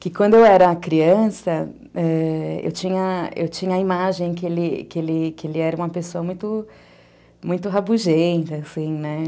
Que quando eu era criança, é, eu tinha eu tinha a imagem que ele que ele era uma pessoa muito rabugenta, assim, né?